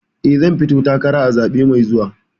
Eh, zan fito takara a zaɓe mai zuwa.